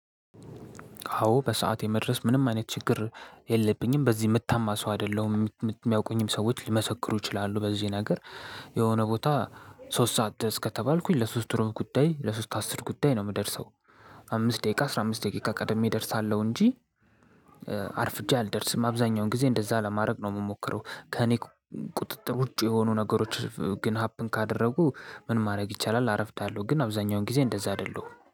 አዎ በሰአት የመድረስ ምንም አይነት ችግር የለብኝም በዚህ የምታማ ሰው አይደለሁም የሚያውቁኝም ሰዎች ሊመሰክሩ ይችላሉ በዚህ ነገር። የሆነ ቦታ ሶስት ሰዓት ድረስ ከተባልኩኝ ለሶስት ሩብ ጉዳይ ለሶስት አስር ጉዳይ ነው የምደርሰው። አምስት ደቂቃ አስራ አምስት ደቂቃ ቀድሜ እደርሳለሁ እንጂ። አርፍጄ አልደርስም አብዛኛውን ጊዜ እንደዛ ለማድረግ ነው የምሞክረው። ከእኔ ቁጥጥር ውጪ የሆኑ ነገሮች ግን ሀፕን ካደረጉ ምን ማድረግ ይቻላል? አረፍዳለሁ ግን አብዛኛውን ጊዜ እንደዛ አይደለሁም